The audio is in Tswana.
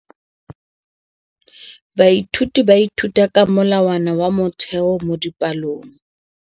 Baithuti ba ithuta ka molawana wa motheo mo dipalong.